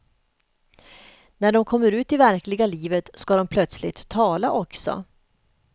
När de kommer ut i verkliga livet ska de plötsligt tala också.